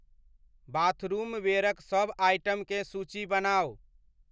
बाथरूमवेयरक सभ आइटमकेँ सूची बनाउ।